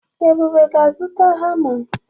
Ebube ga-azụta hama.